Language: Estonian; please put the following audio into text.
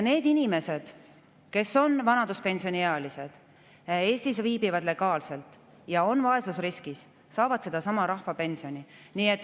Need inimesed, kes on vanaduspensioniealised, viibivad Eestis legaalselt ja on vaesusriskis, saavad sedasama rahvapensioni.